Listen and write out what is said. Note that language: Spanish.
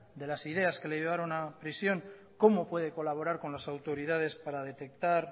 de las ideas que le llevaron a prisión cómo puede colaborar con las autoridades para detectar